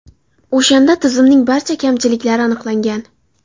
O‘shanda tizimning barcha kamchiliklari aniqlangan.